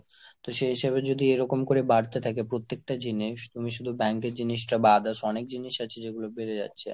তো সেই হিসেবে যদি এরকম করে বাড়তে থাকে প্রত্যেকটা জিনিস, তুমি শুধু bank এর জিনিস টা বাদে অনেক জিনিস আছে যেগুলো বেড়ে যাচ্ছে।